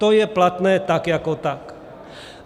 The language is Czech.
To je platné tak jako tak.